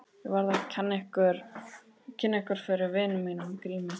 Ég verð að kynna yður fyrir vini mínum Grími.